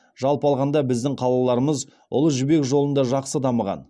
жалпы алғанда біздің қалаларымыз ұлы жібек жолында жақсы дамыған